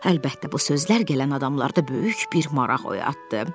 Əlbəttə, bu sözlər gələn adamlarda böyük bir maraq oyatdı.